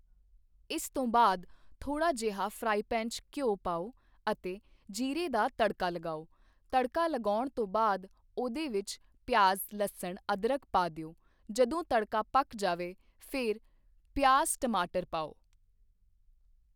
ਇਸ ਤੋਂ ਬਾਅਦ ਥੋੜ੍ਹਾ ਜਿਹਾ ਫਰਾਈਪੈਨ 'ਚ ਘਿਉ ਪਾਓ ਅਤੇ ਜ਼ੀਰੇ ਦਾ ਤੜਕਾ ਲਗਾਓ ਤੜਕਾ ਲਗਾਉਣ ਤੋਂ ਬਾਅਦ ਉਹਦੇ ਵਿੱਚ ਪਿਆਜ਼ ਲੱਸਣ ਅਦਰਕ ਪਾ ਦਿਓ, ਜਦੋਂ ਤੜਕਾ ਪੱਕ ਜਾਵੇ ਫਿਰ ਪਿਆਜ਼ ਟਮਾਟਰ ਪਾਓ